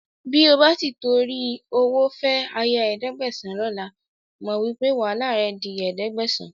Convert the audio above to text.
Bí o bá ti ìtorí owó fẹ́ aya ẹ̀ẹ́dẹ́gbẹ̀sán lọ́la, mo wí pé wàhálà rẹ di ẹ̀ẹ́dẹ́gbẹ̀sán